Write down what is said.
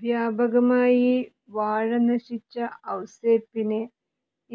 വ്യാപകമായി വാഴ നശിച്ച ഔസേപ്പിന്